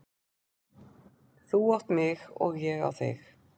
Þú átt mig og ég á þig.